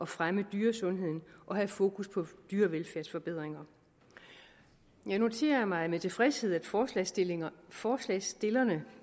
fremme dyresundhed og have fokus på dyrevelfærdsforbedringer jeg noterer mig med tilfredshed at forslagsstillerne forslagsstillerne